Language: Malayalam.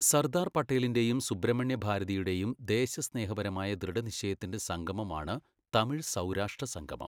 സർദാർ പട്ടേലിന്റെയും സുബ്രഹ്മണ്യ ഭാരതിയുടെയും ദേശസ്നേഹപരമായ ദൃഢനിശ്ചയത്തിന്റെ സംഗമമാണ് തമിഴ് സൗരാഷ്ട്ര സംഗമം